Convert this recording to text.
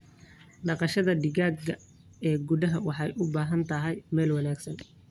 Dhaqashada digaaga ee gudaha waxay u baahan tahay meel wanaagsan.